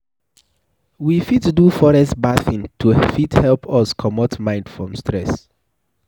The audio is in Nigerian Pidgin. We fit do forest bathing to fit help us comot mind from stress